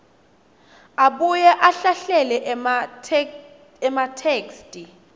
abuye ahlahlele ematheksthi